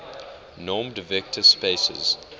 normed vector spaces